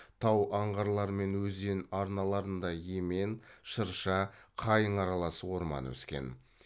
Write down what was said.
тау аңғарларымен өзен арналарында емен шырша қайың аралас орман өскен